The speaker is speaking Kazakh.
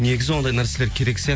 негізі ондай нәрселер керек сияқты